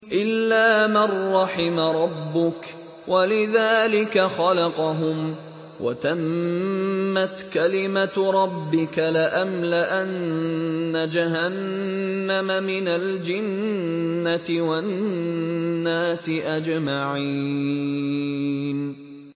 إِلَّا مَن رَّحِمَ رَبُّكَ ۚ وَلِذَٰلِكَ خَلَقَهُمْ ۗ وَتَمَّتْ كَلِمَةُ رَبِّكَ لَأَمْلَأَنَّ جَهَنَّمَ مِنَ الْجِنَّةِ وَالنَّاسِ أَجْمَعِينَ